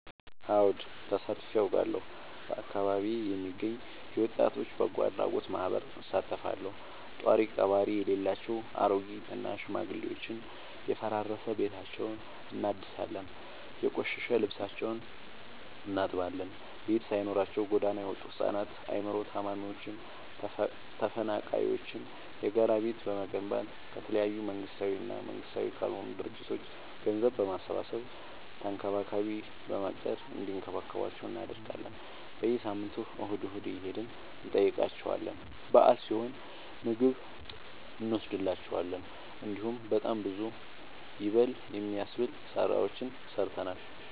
አወድ ተሳትፊ አውቃለሁ። በአካቢዬ የሚገኝ የወጣቶች በጎአድራጎት ማህበር እሳተፋለሁ። ጦሪቀባሪ የሌላቸው አሬጊት እና ሽማግሌዎችን የፈራረሰ ቤታቸውን እናድሳለን፤ የቆሸሸ ልብሳቸውን እናጥባለን፤ ቤት ሳይኖራቸው ጎዳና የወጡቱ ህፃናትን አይምሮ ታማሚዎችን ተፈናቃይዎችን የጋራ ቤት በመገንባት ከተለያዩ መንግስታዊ እና መንግስታዊ ካልሆኑ ድርጅቶች ገንዘብ በማሰባሰብ ተንከባካቢ በመቅጠር እንዲከባከቧቸው እናደርጋለን። በየሳምንቱ እሁድ እሁድ እየሄድን እንጠይቃቸዋለን በአል ሲሆን ምግብ እኖስድላቸዋለን። እንዲሁም በጣም ብዙ ይበል የሚያስብ ስራዎችን ሰርተናል።